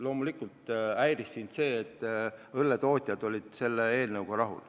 Loomulikult sind häiris, et õlletootjad olid selle eelnõuga rahul.